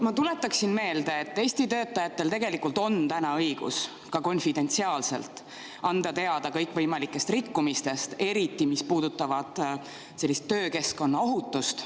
Ma tuletaksin meelde, et Eesti töötajatel tegelikult on täna õigus ka konfidentsiaalselt anda teada kõikvõimalikest rikkumistest, eriti, mis puudutavad töökeskkonna ohutust.